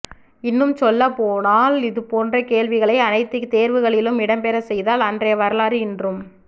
இன்னும் சொல்லப்போனால் இதுபோன்ற கேள்விகளை அனைத்துத் தேர்வுகளிலும் இடம்பெறச் செய்தால் அன்றைய வரலாறு இன்றும்